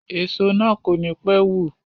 Èso na kò ní pé wù.